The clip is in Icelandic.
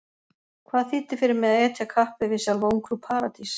Hvað þýddi fyrir mig að etja kappi við sjálfa Ungfrú Paradís?